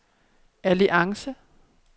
alliance